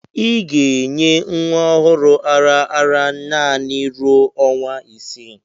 Ị ga-enye nwa ọhụrụ ara ara naanị ruo ọnwa isii